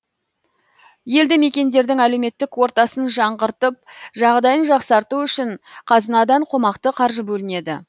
елді мекендердің әлеуметтік ортасын жаңғыртып жағдайын жақсарту үшін қазынадан қомақты қаржы бөлінеді